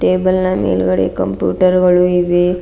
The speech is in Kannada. ಟೇಬಲ್ ನಾ ಮೇಲ್ಗಡೆ ಕಂಪ್ಯೂಟರ್ ಗಳು ಇವೆ.